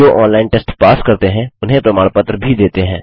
जो online test pass करते हैं उन्हें प्रमाण पत्र भी देते हैं